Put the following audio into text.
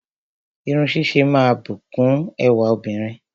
Irun ṣíṣe máa ń bùkún ẹwà obìnrin